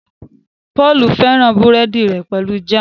Paul féràn burẹdi rè pẹlú Jam.